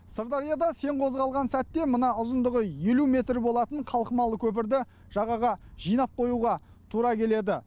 сырдарияда сең қозғалған сәтте мына ұзындығы елу метр болатын қалқымалы көпірді жағаға жинап қоюға тура келеді